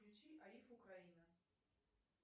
включи аиф украина